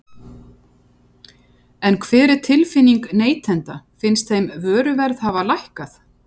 En hver er tilfinningin neytenda, finnst þeim vöruverð hafa lækkað?